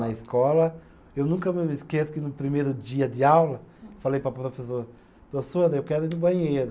Na escola, eu nunca me esqueço que no primeiro dia de aula, falei para a professora, professora, eu quero ir no banheiro.